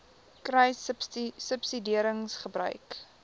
kruissubsidiëringgebruik